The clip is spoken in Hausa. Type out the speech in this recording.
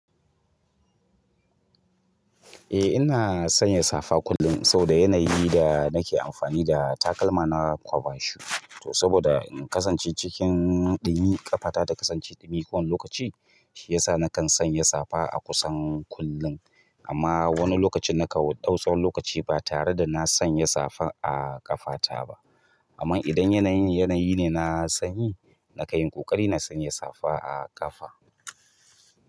Eh ina sanya safa kullum saboda yanayi da nake amfani da takalma na kwaba shu. To saboda in kasance cikin ɗumi ƙafata da kasance ɗumi kowane lokaci, shi ya sa nakan sanya safa a kusan kullum. Amma wani lokaci na kawo ɗau tsawon lokaci ba tare da na sanya safa a ƙafata ba. Amma idan yanayin, yanayi ne na sanyi, na kayin ƙoƙari na sanya safa a ƙafa.